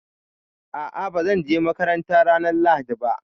A'a, ba zan je makaranta ranar Lahadi ba